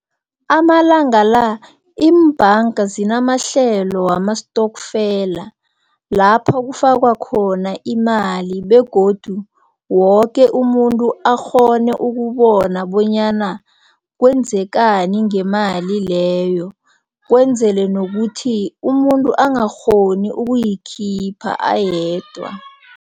Amalanga la iimbhanga zinamahlelo wamastokfela lapho kufakwa khona imali begodu woke umuntu akghone ukubona bonyana kwenzakani ngemali leyo, kwenzelwe nokuthi umuntu angakghoni ukuyikhipha ayedwa.